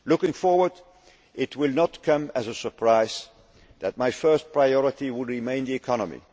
meetings. Looking forward, it will not come as a surprise that my first priority will remain the